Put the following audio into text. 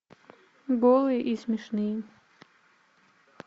голые и смешные